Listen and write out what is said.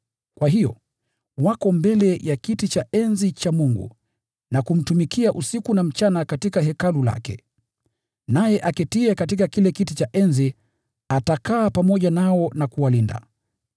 Kwa hiyo, “Wako mbele ya kiti cha enzi cha Mungu na kumtumikia usiku na mchana katika hekalu lake; naye aketiye katika kile kiti cha enzi atatanda hema yake juu yao.